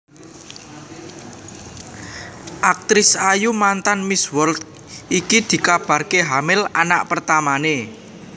Aktris ayu mantan Miss World iki dikabarke hamil anak pertamane